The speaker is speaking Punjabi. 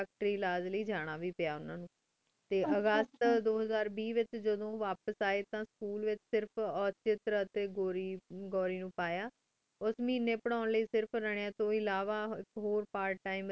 ਟੀ ਅਗਸਤ ਦੋ ਹਜ਼ਾਰ ਵੇ ਵੇਚ ਜਾਦੁਨ ਵਾਪਸ ਆਯ ਤਾਂ ਉਦੁਨ ਸਕੂਲ ਵੇਚ ਸਿਰਫ ਉਟੇਡ ਟੀ ਘੂਰੀ ਘੂਰੀ ਨੂ ਪਾਯਾ ਉਸ ਮਿਨੀ ਪੇਰ੍ਹਉਣ ਲੈ ਸਿਰਫ ਉਨਾ ਨੀ ਇਨਾ ਤੂੰ ਇਲਾਵਾ ਹੋਰ ਪਰਤ ਟੀਮੇ